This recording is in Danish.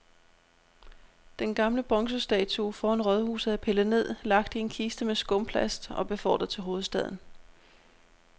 Den gamle bronzestatue foran rådhuset er pillet ned, lagt i en kiste med skumplast og befordret til hovedstaden.